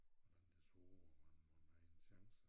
Hvordan det så ud om han mon havde en chance